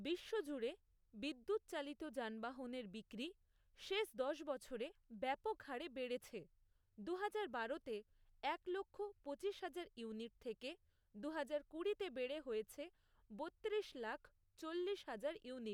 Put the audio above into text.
বিশ্বজুড়ে বিদ্যুৎচালিত যানবাহনের ইভি বিক্রি শেষ দশ বছরে ব্যাপকহারে বেড়েছে, দুহাজার বারোতে এক লক্ষ, পঁচিশ হাজার, ইউনিট থেকে দুহাজার কুড়িতে বেড়ে হয়েছে বত্তিরিশ লাখ, চল্লিশ হাজার ইউনিট।